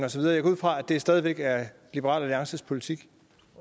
og så videre jeg går ud fra at det stadig væk er liberal alliances politik